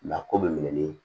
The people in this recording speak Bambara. La ko bɛ minɛ ni